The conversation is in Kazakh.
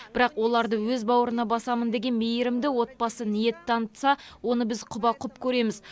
бірақ оларды өз бауырына басамын деген мейірімді отбасы ниет танытса оны біз құба құп көреміз